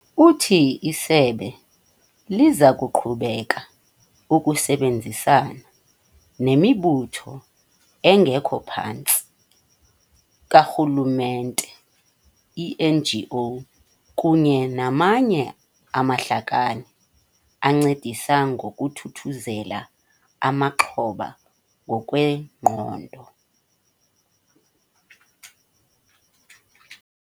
Uthi isebe liza kuqhubeka ukusebenzisana nemibutho engekho phantsi kukarhululemente, ii-NGO, kunye namanye amahlakani ancedisa ngokuthuthuzela amaxhoba ngokwengqondo.